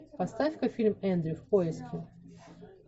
поставь ка фильм эндрю в поиске